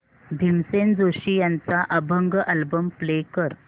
भीमसेन जोशी यांचा अभंग album play कर